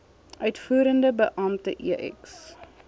uitvoerende beampte ex